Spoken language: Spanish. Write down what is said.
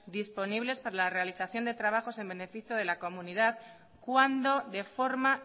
disponibles para la realización de trabajos en beneficio de la comunidad cuando de forma